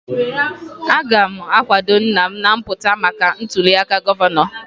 Aga m akwado nna m na-apụta maka ntụliaka gọvanọ